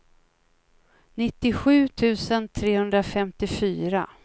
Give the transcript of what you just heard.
nittiosju tusen trehundrafemtiofyra